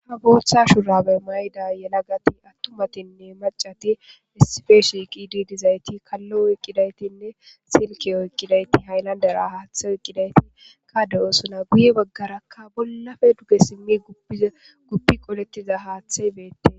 ha botha shurabe mayidda atumatinne maccati eqidi dizayit kalo eqidayitinesilike oyikidageti hayilandera hathe oyikidageti guye baggara bollapape duge qoletida hathayi betes